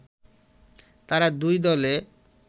তারা দুই দলে